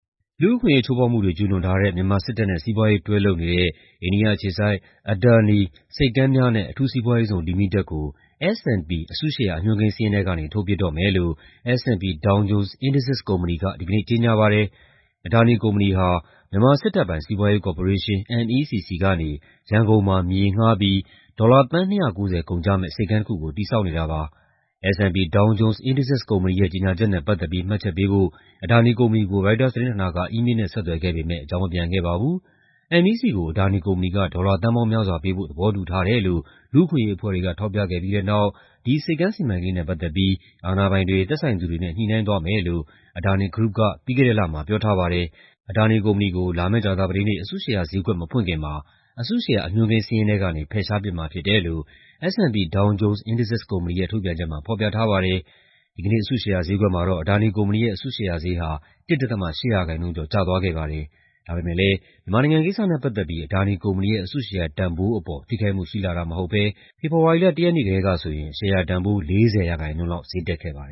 လူ့အခွင့်အရေး ချိုးဖောက်မှုတွေ ကျူးလွန်ထားတဲ့ မြန်မာစစ်တပ်နဲ့ စီးပွားရေး တွဲလုပ်နေတဲ့ အိန္ဒိယအခြေစိုက် Adani ဆိပ်ကမ်းများနဲ့ အထူးစီးပွားရေးဇုန်လီမိတက်ကို S&P အစုရှယ်ယာ အညွှန်းကိန်းစာရင်းထဲကနေ ထုတ်ပစ်တော့မယ်လို့ S&P Dow Jones Indices ကုမ္ပဏီက ဒီကနေ့ ကြေညာပါတယ်။ Adani ကုမ္ပဏီဟာ မြန်မာစစ်တပ်ပိုင် မြန်မာ့စီးပွားရေးကော်ပိုရေးရှင်း (MEC) ဆီကနေ ရန်ကုန်မှာ မြေငှားပြီး ဒေါ်လာ သန်း ၂၉၀ ကုန်ကျမယ့် ဆိပ်ကမ်းတစ်ခုကို တည်ဆောက်နေတာပါ။ S&P Down Jones Indices ကုမ္ပဏီရဲ့ကြေညာချက်နဲ့ပတ်သက်ပြီး မှတ်ချက်ပေးဖို့ Adani ကုမ္ပဏီကို ရိုက်တာသတင်းဌာနက အီးမေးလ်နဲ့ ဆက်သွယ်ခဲ့ပေမဲ့ အကြောင်းမပြန်ခဲ့ပါဘူး။ MEC ကို Adani ကုမ္ပဏီက ဒေါ်လာသန်းပေါင်းများစွာပေးဖို့ သဘောတူထားတယ်လို့ လူ့အခွင့်အရေးအဖွဲ့တွေက ထောက်ပြခဲ့ပြီးတဲ့နောက် ဒီဆိပ်ကမ်းစီမံကိန်းနဲ့ ပတ်သက်ပြီး အာဏာပိုင်တွေ၊ သက်ဆိုင်သူတွေနဲ့ ညှိနှိုင်းသွားမယ်လို့ Adani Group က ပြီးခဲ့တဲ့လမှာ ပြောထားပါတယ်။ Adani ကုမ္ပဏီကို လာမယ့် ကြာသပတေးနေ့ အစုရှယ်ယာဈေးကွက် မဖွင့်ခင်မှာ အစုရှယ်ယာ အညွှန်းကိန်းစာရင်းထဲကနေ ဖယ်ရှားပစ်မှာဖြစ်တယ်လို့ S&P Dow Jones Indices ကုမ္ပဏီရဲ့ ထုတ်ပြန်ချက်မှာ ဖော်ပြထားပါတယ်။ ဒီကနေ့ အစုရှယ်ယာဈေးကွက်မှာတော့ Adani ကုမ္ပဏီရဲ့ အစုရှယ်ဈေးဟာ ၁.၈% ကျော် ကျသွားခ့ပါတယ်။ ဒါပေမဲ့လည်း မြန်မာနိုင်ငံကိစ္စနဲ့ပတ်သက်ပြီး Adani ကုမ္ပဏီရဲ့ အစုရှယ်ယာတန်ဖိုးအပေါ် ထိခိုက်မှုရှိလှတာ မဟုတ်ဘဲ ဖေဖော်ဝါရီလ ၁ ရက်နေ့ကတည်းကဆိုရင် ရှယ်ယာတန်ဖိုး ၄၀% လောက် တက်ခဲ့ပါတယ